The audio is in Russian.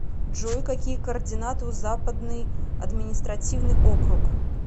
джой какие координаты у западный административный округ